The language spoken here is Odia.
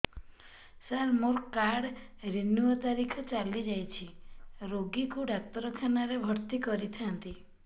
ସାର ମୋର କାର୍ଡ ରିନିଉ ତାରିଖ ଚାଲି ଯାଇଛି ରୋଗୀକୁ ଡାକ୍ତରଖାନା ରେ ଭର୍ତି କରିଥାନ୍ତି